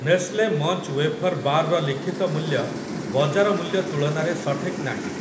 Nestle munch wafer bar ର ଲିଖିତ ମୂଲ୍ୟ ବଜାର ମୂଲ୍ୟ ତୁଳନାରେ ସଠିକ୍ ନାହିଁ ।